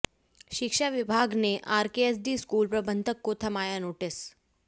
शिक्षा विभाग ने आरकेएसडी स्कूल प्रबंधक को थमाया नोटिस